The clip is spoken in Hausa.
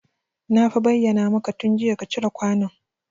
Na fa bayyana maka tun jiya ka cire kwanon